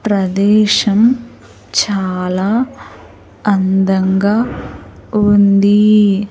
ప్రదేశం చాలా అందంగా ఉంది.